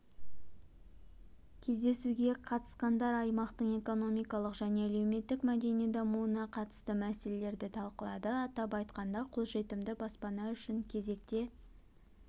кездесуге қатысқандар аймақтың экономикалық және әлеуметтік-мәдени дамуына қатысты мәселелерді талқылады атап айтқанда қолжетімді баспана үшін кезекте